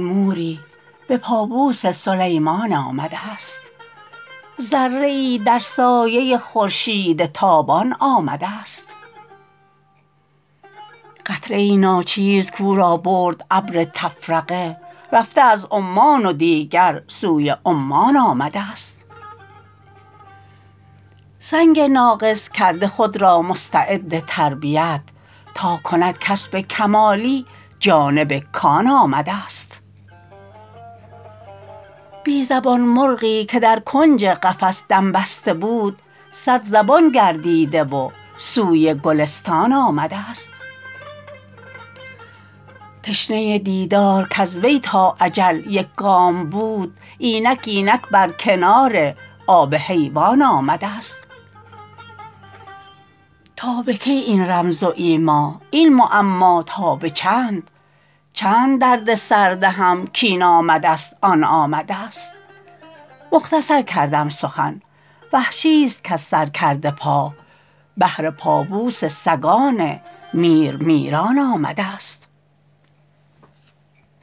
موری به پابوس سلیمان آمدست ذره ای در سایه خورشید تابان آمدست قطره ای ناچیز کو را برد ابر تفرقه رفته از عمان و دیگر سوی عمان آمدست سنگ ناقص کرده خود را مستعد تربیت تا کند کسب کمالی جانب کان آمدست بی زبان مرغی که در کنج قفس دم بسته بود صد زبان گردیده و سوی گلستان آمدست تشنه دیدار کز وی تا اجل یک گام بود اینک اینک بر کنار آب حیوان آمدست تا به کی این رمز و ایما این معما تا به چند چند درد سر دهم کین آمدست آن آمدست مختصر کردم سخن وحشیست کز سر کرده پا بهر پابوس سگان میر میران آمدست